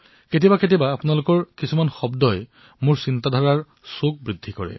কেতিয়াবা কেতিয়াবা মোৰ চিন্তাধাৰাক ধাৰ দিয়াৰ কাম আপোনালোকৰ শব্দই কৰে